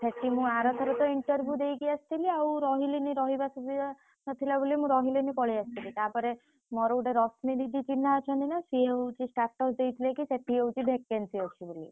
ସେଠି ମୁଁ ଆର ଥରକ interview ଦେଇକି ଆସିଥିଲି ଆଉ ରହିଲିନି ରହିବା ସୁବିଧା ନଥିଲା ବୋଲି ମୁଁ ରହିଲିନି ପଳେଇଆସିଥିଲି ତାପରେ ସିଏ ହଉଛି status ଦେଇଥିଲେ କି ସେଠି ହଉଛି vacancy ଅଛି ବୋଲି।